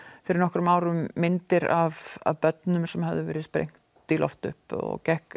fyrir nokkrum árum myndir af börnum sem höfðu verið sprengd í loft upp og gekk